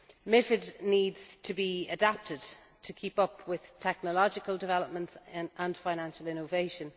MiFID needs to be adapted to keep up with technological developments and financial innovation.